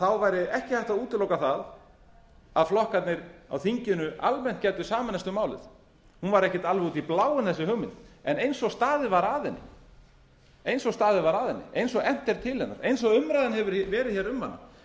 þá væri ekki hægt að útiloka það að flokkarnir á þinginu almennt gætu sameinast um málið hún var ekki almennt út í bláinn þessi hugmynd en eins og staðið var að henni eins og efnt er til hennar eins og umræðan hefur verið um hana